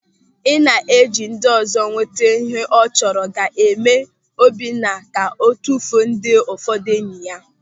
Ị na-eji ndịọzọ enweta ịhe ọ chọrọ ga-eme Obinna ka o tufuo ndị ụfọdụ enyi ya.